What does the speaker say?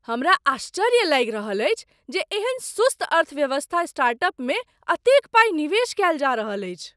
हमरा आश्चर्य लागि रहल अछि जे एहन सुस्त अर्थव्यवस्था स्टार्टअपमे एतेक पाइ निवेश कयल जा रहल अछि।